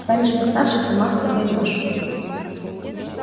станешь постарше сама всё поймёшь